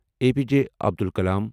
A P J Abdul کلام